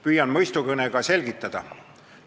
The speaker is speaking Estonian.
Püüan mõistukõnega selgitada.